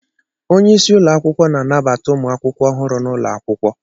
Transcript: Onye isi ụlọ akwụkwọ na-anabata ụmụ akwụkwọ ọhụrụ n' ụlọ akwụkwọ